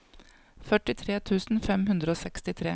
førtitre tusen fem hundre og sekstitre